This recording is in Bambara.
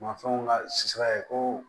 Mafɛnw ka si sabanan ye ko